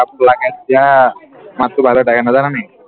মাতটো ভাল হৈ থাকে নাজানানি